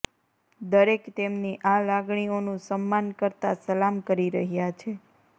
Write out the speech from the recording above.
દરેક તેમની આ લાગણીઓનું સમ્માન કરતા સલામ કરી રહ્યા છે